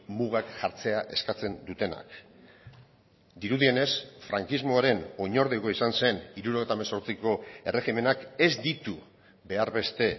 mugak jartzea eskatzen dutenak dirudienez frankismoaren oinordekoa izan zen hirurogeita hemezortziko erregimenak ez ditu behar beste